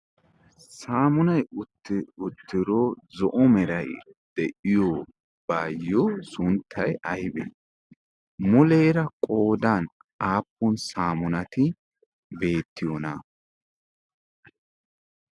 saamunay uttidaaro zo'omerai de'iyo baayyo sunttay aybee muleera qoodan aappun saamunati beettiyoona?